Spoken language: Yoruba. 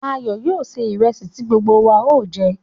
Ayo yóò sè ìrẹ̀sì ti gbogbo wa o jẹ̀.